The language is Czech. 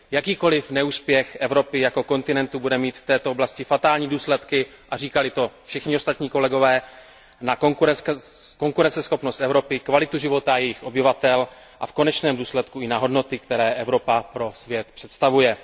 Jakýkoliv neúspěch Evropy jako kontinentu bude mít v této oblasti fatální důsledky a říkali to všichni ostatní kolegové pro konkurenceschopnost Evropy, kvalitu života jejích obyvatel a v konečném důsledku i pro hodnoty, které Evropa pro svět představuje.